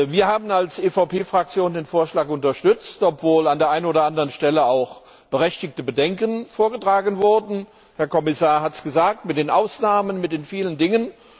Wir haben als EVP Fraktion den Vorschlag unterstützt, obwohl an der einen oder anderen Stelle auch berechtigte Bedenken vorgetragen wurden der Herr Kommissar hat es gesagt bezüglich der Ausnahmen, vieler Dinge.